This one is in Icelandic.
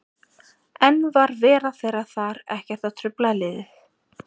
En var vera þeirra þar ekkert að trufla liðið?